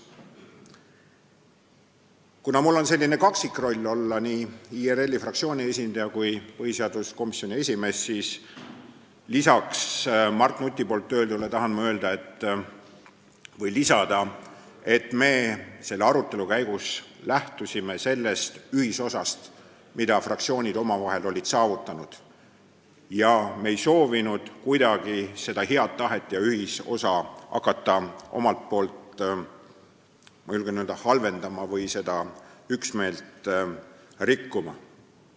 Kuna minul on selline kaksikroll – olen nii IRL-i fraktsiooni esindaja kui ka põhiseaduskomisjoni esimees –, siis tahan Mart Nuti öeldule lisada, et selle arutelu käigus me lähtusime ühisosast, mida fraktsioonid olid omavahel saavutanud, ega soovinud hakata kuidagi seda head tahet halvendama või üksmeelt rikkuma.